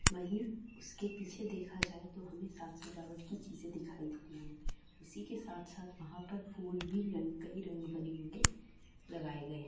वही उसके पीछे देखा जाएं तो हमे साक -सजावट की चीजे दिखाई दे रही है उसी के साथ- साथ वहां पर फूल भी कई रंग बने होंगे लगाए गए हैं।